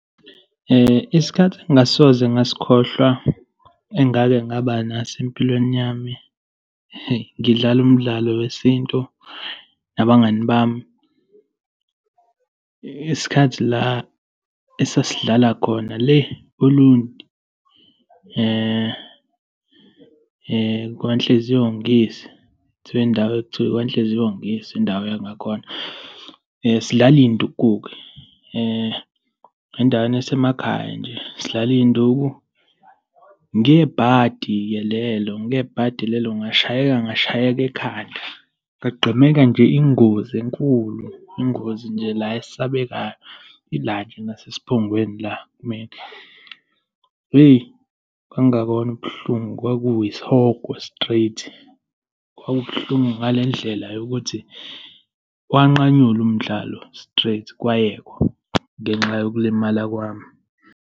Isikhathi engingasoze ngasikhohlwa engake ngaba naso empilweni yami, heyi, ngidlala umdlalo wesintu nabangani bami, isikhathi la esasilidlala khona le Olundi kaNhliziyo ngiyise, kuthiwa indawo ekuthiwa ikwaNhliziyo ngiyise, indawo yangakhona, sidlala iy'nduku-ke, endaweni yasemakhaya nje, sidlala iy'nduku. Ngebhadi-ke lelo, ngebhadi lelo, ngashayeka, ngashayeka ekhanda. Ngagqemeka nje ingozi enkulu, ingozi nje la esabekayo, la nje ngasesiphongweni la kumina. Hheyi, kwakungakona ubuhlungu, kwakuyisihogo straight. Kwakubuhlungu ngale ndlela yokuthi wanqanyulwa umdlalo straight, kwayekwa ngenxa yokulimala kwami.